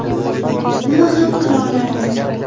Nima ham qila olardim?